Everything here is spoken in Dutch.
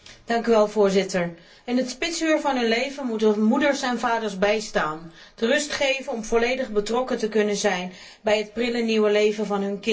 Voorzitter, in het spitsuur van hun leven moeten we moeders en vaders bijstaan, de rust te geven om volledig betrokken te kunnen zijn bij het prille nieuwe leven van hun kind.